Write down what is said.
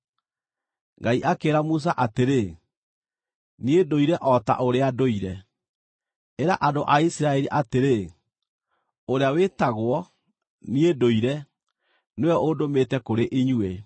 Ngai akĩĩra Musa atĩrĩ, “NIĨ NDŨIRE O TA ŨRĨA NDŨIRE. Ĩra andũ a Isiraeli atĩrĩ, Ũrĩa wĩtagwo ‘NIĨ NDŨIRE nĩwe ũndũmĩte kũrĩ inyuĩ.’ ”